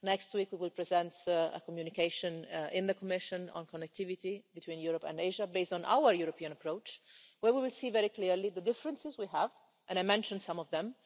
Next week we will present a communication in the Commission on connectivity between Europe and Asia, based on our European approach, where we will see very clearly the differences we have, and I mentioned some of them.